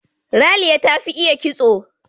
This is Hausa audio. Raliya ta fi iya kitso.